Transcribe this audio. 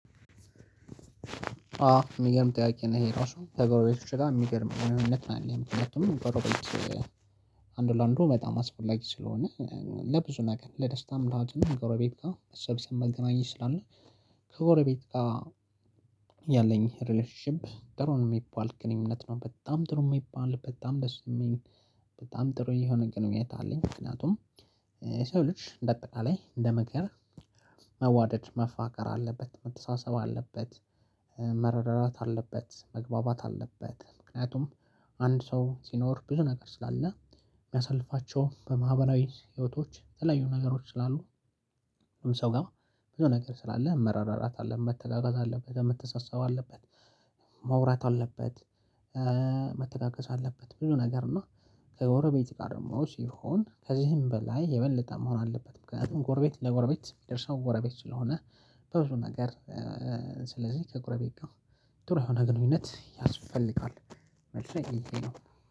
አዎ የሚገርም ጥያቄ ነው ይሄ ራሱ ከጎረቤቶቼ ጋር የሚገርም ግንኙነት ነው ያለኝ ምክንያቱም ገረቤት አንድ ለአንድ በጣም አስፈላጊ ስለሆነ። ለብዙ ነገር ለደስታ ለሀዘኑም ጎረቤት ጋር መሰብሰብ መገናኘት ስላለ። ከጎረቤት ጋር ያለኝ ሪሌሽንሺፕ ደጥሩ ነው የሚባል ግንኙነት ነው በጣም ጥሩ የሚባል በጣም ደስ የሚል። በጣም ጥሩ የሆነ ግንኙነት አለኝ። ምክንያቱም የሰው ልጅ እንደአጠቃላይ እንደ መግቢያ። መዋደድ መፋቀር አለበት መተሳሰብ አለበት። መረዳዳት አለበት መግባባት አለበት ምክንያቱም አንድ ሰው ሲኖር ብዙ ነገር ስላለ። የሚያሳልፋቸው በማህበራዊ ህይወቶች የተለያዩ ነገሮች ስላሉ። ሰው ጋር ብዙ ነገር ስላለ መረዳዳት አለ መተጋገዞ አለበት መተሳሰብ አለበት። መውራት አለበት። መተጋገዝ አለበት ብዙኸ ነገር እና። ከጎረቤት ጋር ደግሞ ሲሆን ከዚህም በላይ የበለጠ መሆን አለበት ምክንያቱም ጎረቤት ለጎረቤት የሚደርሰው ጎረቤት ስለሆነ። በብዙ ነገር። ስለዚህ ከጎረቤት ጋር ጥሩ የሆነ ግንኙነት ያስፈልጋል። መልሴ ይቴ ነው